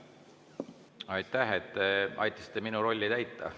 Aitäh, et te aitasite minu rolli täita!